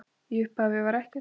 Í upphafi var ekkert.